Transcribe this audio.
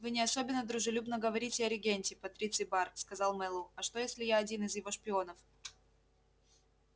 вы не особенно дружелюбно говорите о регенте патриций бар сказал мэллоу а что если я один из его шпионов